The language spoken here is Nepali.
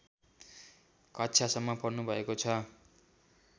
कक्षासम्म पढ्नुभएको छ